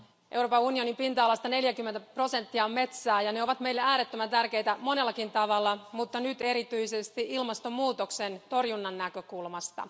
Euroopan unionin pinta alasta 40 prosenttia on metsää ja ne ovat meille äärettömän tärkeitä monellakin tavalla, mutta nyt erityisesti ilmastonmuutoksen torjunnan näkökulmasta.